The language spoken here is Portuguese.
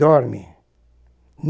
Dorme.